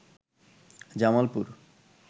Jamalpur